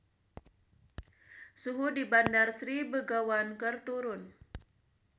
Suhu di Bandar Sri Begawan keur turun